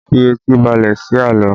Fi etí balẹ̀ sí àlọ́!